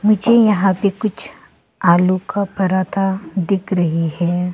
मुझे यहां पे कुछ आलू का पराठा दिख रही है।